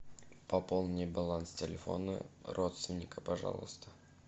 пополни баланс телефона родственника пожалуйста